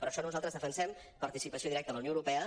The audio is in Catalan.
per això nosaltres defensem participació directa a la unió europea